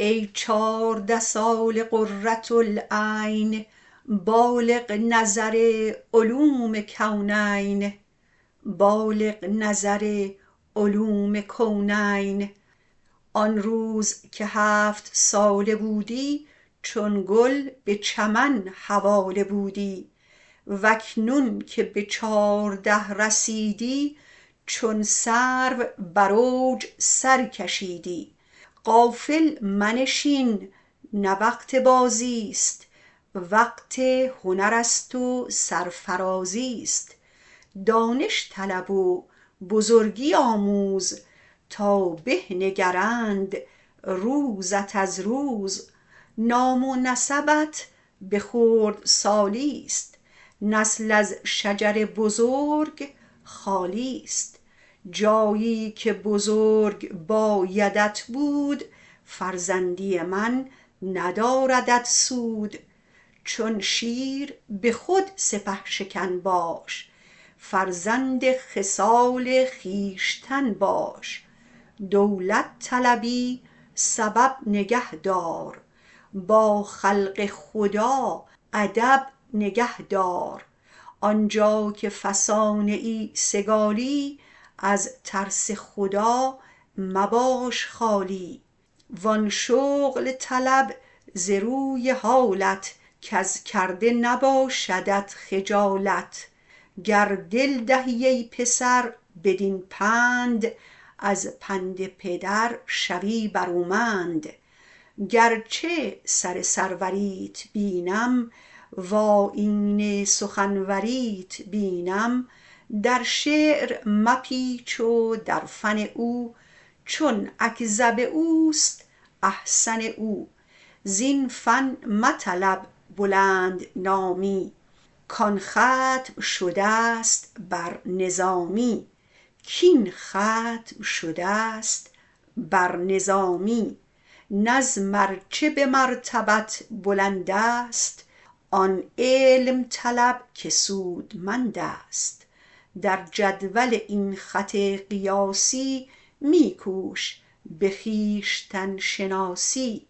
ای چارده ساله قرة العین بالغ نظر علوم کونین آن روز که هفت ساله بودی چون گل به چمن حواله بودی واکنون که به چارده رسیدی چون سرو بر اوج سر کشیدی غافل منشین نه وقت بازی است وقت هنر است و سرفرازی است دانش طلب و بزرگی آموز تا به نگرند روزت از روز نام و نسبت به خردسالی ست نسل از شجر بزرگ خالی ست جایی که بزرگ بایدت بود فرزندی من نداردت سود چون شیر به خود سپه شکن باش فرزند خصال خویشتن باش دولت طلبی سبب نگه دار با خلق خدا ادب نگه دار آنجا که فسانه ای سگالی از ترس خدا مباش خالی وان شغل طلب ز روی حالت کز کرده نباشدت خجالت گر دل دهی ای پسر بدین پند از پند پدر شوی برومند گرچه سر سروریت بینم وآیین سخنوریت بینم در شعر مپیچ و در فن او چون اکذب اوست احسن او زین فن مطلب بلند نامی کان ختم شده است بر نظامی نظم ار چه به مرتبت بلند است آن علم طلب که سودمند است در جدول این خط قیاسی می کوش به خویشتن شناسی